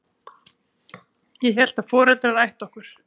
Ég hélt að foreldrar ættu okkur.